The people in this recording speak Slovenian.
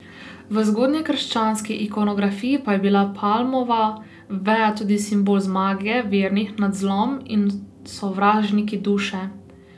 V zgodnjekrščanski ikonografiji pa je bila palmova veja tudi simbol zmage vernih nad zlom in sovražniki duše.